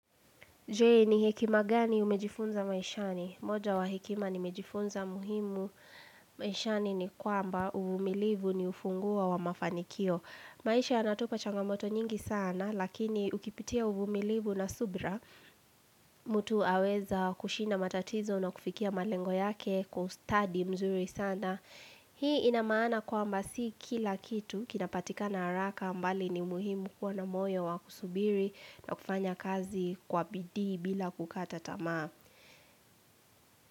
Je ni hekima gani umejifunza maishani? Moja wa hekima nimejifunza muhimu maishani ni kwamba uvumilivu ni ufunguo wa mafanikio. Maisha yanatupa changamoto nyingi sanaa lakini ukipitia uvumilivu na subra mtu aweza kushinda matatizo na kufikia malengo yake kwa ustadi mzuri sana. Hii inamaana kwamba si kila kitu kinapatikana haraka mbali ni umuhimu kuwa na moyo wa kusubiri na kufanya kazi kwa bidii bila kukata tamaa.